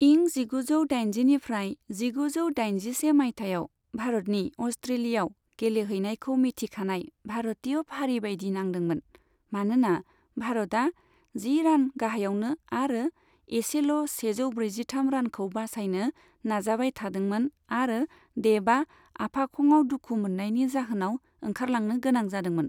इं जिगुजौ दाइनजिनिफ्रारय जिगुजौ दाइजिसे माइथायाव भारतनि अस्ट्रेलियाव गेलेहैनायखौ मिथिखानाय भारतिय फारि बायदि नांदोंमोन, मानोना भारतआ जि रान गाहायावमोन आरो इसेल' सेजौ ब्रैजिथाम रानखौ बासायनो नाजाबाय थादोंमोन आरो देबआ आफाखंआव दुखु मोननायनि जाहोनाव ओंखारलांनो गोनां जादोंमोन।